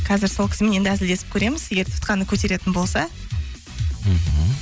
қазір сол кісімен енді әзілдесіп көреміз егер тұтқаны көтеретін болса мхм